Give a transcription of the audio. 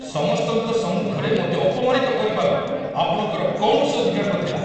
ସମସ୍ତଙ୍କ ସମ୍ମୁଖରେ ମୋତେ ଅପମାନିତ କରିବାର ଆପଣଙ୍କର କୌଣସି ଅଧିକାର ନଥିଲା।